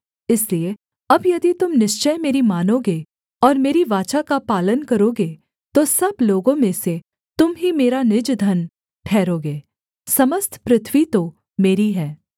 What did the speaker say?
इसलिए अब यदि तुम निश्चय मेरी मानोगे और मेरी वाचा का पालन करोगे तो सब लोगों में से तुम ही मेरा निज धन ठहरोगे समस्त पृथ्वी तो मेरी है